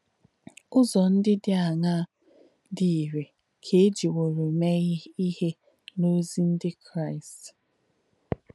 Ụ̀zọ̀ ndí dí àṅaa dí ìrē kà è jìwōrū mēē íhe n’ozì ndí Kráīst?